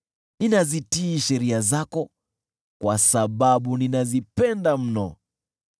Ninazitii sheria zako, kwa sababu ninazipenda mno.